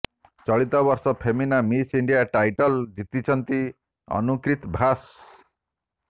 ଚଳିତ ବର୍ଷ Femina miss India title ଜିତିଛନ୍ତି ଅନୁକ୍ରିତି ଭାସ